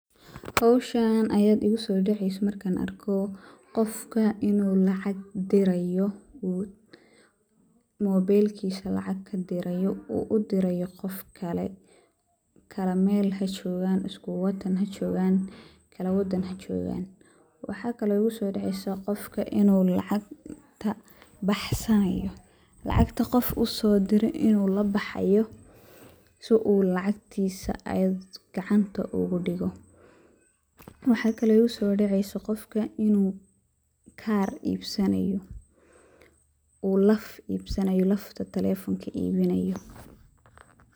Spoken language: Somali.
Howshan ayaa igu soo daceysa markaan arko qofka inuu lacag diraayo oo mobeelkiisa lacag kadiraayo uu udiraayo qof kale kala meel hajoogan isku wadan hajoogan kala wadan hajoogan, waxaa kale oo igu soo daceysa qofka inuu lacagta uu labaxaayo si uu lacagtiisa gacanta ugu digo, waxa kale oo igu soo daceysa qofka inuu kaar iibsanaayo uu laf iibsanaayo lafta taleefonka iibinaayo.